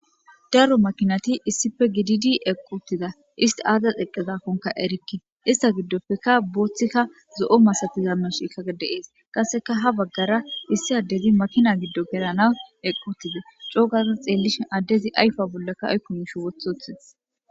Daro makinati issippe gididi eqi utida Issiti azas eqi utida Issiti azas eqidakkoka erike Ista gidoppeka bothika zo'o masatiza mishikka de'ese qasekka ha bagara issi adezi makina gido gelanaw eqi utides co gada xelishin adezi ayfa bollan aykko mishi wothi Wothides